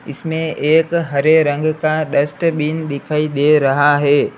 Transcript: इसमें एक हरे रंग का डस्टबिन दिखाई दे रहा है।